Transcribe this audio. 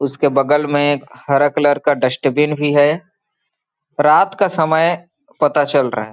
उसके बगल में एक हरा कलर का डस्टबिन भी है रात का समय पता चल रहा है।